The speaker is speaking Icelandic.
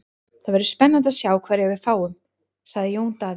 Það verður spennandi að sjá hverja við fáum, sagði Jón Daði.